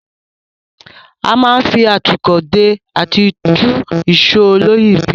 A máa ń fi atúkọ̀ dè àti tú ìsò olóyìíbìrí.